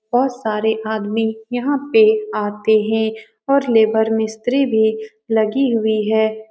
बहुत सारे आदमी यहाँ पे आते हैं और लेबर मिस्त्री भी लगी हुई है।